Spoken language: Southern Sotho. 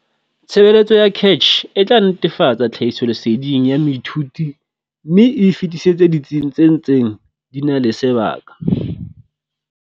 Tshebeletso ya CACH e tla netefatsa tlhahisoleseding ya moithuti mme e e fetisetse ditsing tse ntseng di na le sebaka.